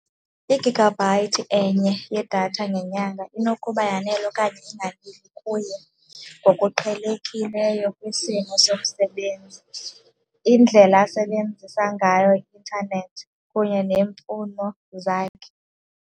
I-gigabyte enye yedatha ngenyanga inokuba yanele okanye inganeli kuye ngokuqhelekileyo kwisimo somsebenzi, indlela asebenzisa ngayo i-intanethi kunye neemfuno zakhe.